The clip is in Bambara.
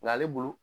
Nga ale bolo